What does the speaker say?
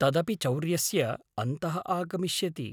तदपि चौर्यस्य अन्तः आगमिष्यति।